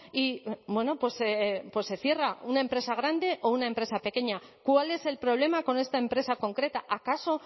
y bueno pues se cierra una empresa grande o una empresa pequeña cuál es el problema con esta empresa concreta acaso